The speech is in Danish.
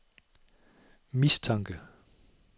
mistanke